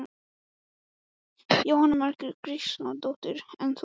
Jóhanna Margrét Gísladóttir: En þú?